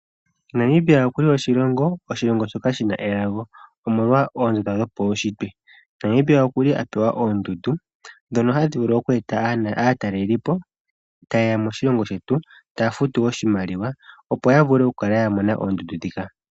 Namibia okuli oshilongo shoka shina elago omolo oonzo dhopaushitwe, Namibia okuli apewa oondundu dhono tadhi vulu oku eta aatelelipo ta yeya moshilongo shetu taya futu oshimaliwa opo ya vule oku kala ya mona oondundu dhika.